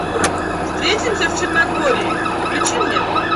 встретимся в черногории включи мне